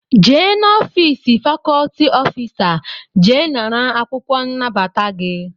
Jee n'ofịịsị fakọlti ọfịsa jee nara akwụkwọ nnabata gị!